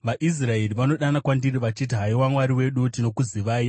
VaIsraeri vanodana kwandiri vachiti, ‘Haiwa, Mwari wedu, tinokuzivai!’